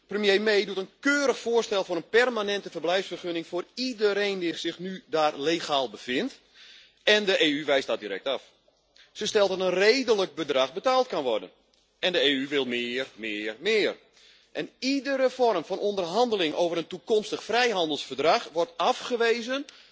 Premier May doet een keurig voorstel voor een permanente verblijfsvergunning voor iedereen die zich daar nu legaal bevindt en de EU wijst dat direct af. Ze stelde dat een redelijk bedrag betaald kan worden en de EU wil meer, meer, meer. Iedere vorm van onderhandeling over een toekomstig vrijhandelsverdrag wordt afgewezen